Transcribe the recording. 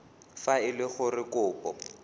fa e le gore kopo